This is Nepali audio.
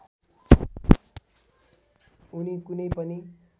उनि कुनै पनि